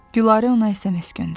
Gülarə ona SMS göndərdi.